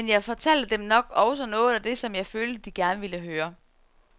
Men jeg fortalte dem nok også noget af det, som jeg følte, de gerne ville høre.